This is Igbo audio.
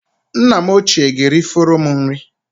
Nna m ochie ga-erifọrọ m nri